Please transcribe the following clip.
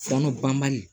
Sanu banbali